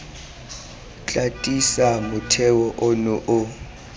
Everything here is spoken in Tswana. tla tiisa motheo ono o